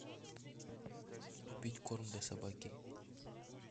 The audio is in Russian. купить корм для собаки